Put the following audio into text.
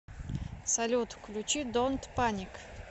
салют включи донт паник